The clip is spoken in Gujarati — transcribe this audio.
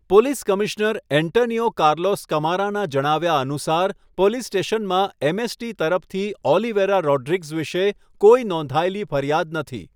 પોલીસ કમિશ્નર એન્ટનિયો કાર્લોસ કમારાનાં જણાવ્યા અનુસાર, પોલીસ સ્ટેશનમાં એમ.એસ.ટી. તરફથી ઓલિવેરા રોડ્રિગ્સ વિશે કોઈ નોંધાયેલી ફરિયાદ નથી.